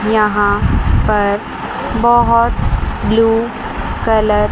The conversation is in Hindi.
यहां पर बहुत ब्लू कलर --